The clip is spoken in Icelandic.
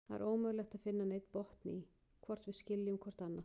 Það er ómögulegt að finna neinn botn í, hvort við skiljum hvort annað.